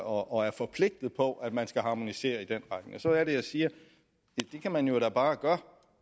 og er forpligtet på at man skal harmonisere i den retning så er det jeg siger ja det kan man jo da bare gøre